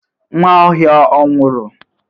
Nwaohia ọ nwụru?